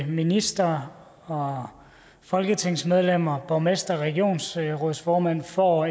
ministre og folketingsmedlemmer borgmestre og regionsrådsformænd får